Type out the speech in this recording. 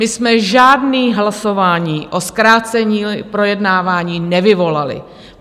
My jsme žádné hlasování o zkrácení projednání nevyvolali.